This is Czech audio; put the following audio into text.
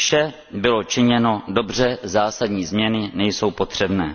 Vše bylo činěno dobře, zásadní změny nejsou potřebné.